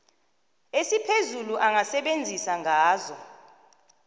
esiphezulu angasebenzisa ngazo